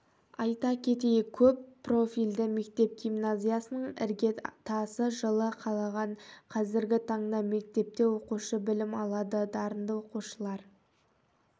айта кетейік көп профильді мектеп-гимназиясының іргетасы жылы қаланған қазіргі таңда мектепте оқушы білім алады дарынды оқушылар